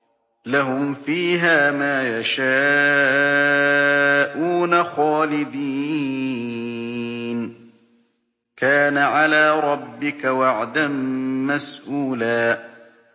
لَّهُمْ فِيهَا مَا يَشَاءُونَ خَالِدِينَ ۚ كَانَ عَلَىٰ رَبِّكَ وَعْدًا مَّسْئُولًا